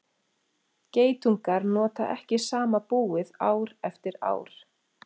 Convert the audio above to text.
geitungar nota ekki sama búið ár eftir ár